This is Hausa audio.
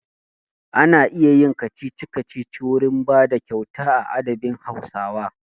Ana iya yin kacici-kacici wurin bada kyauta a adabin Hausawa.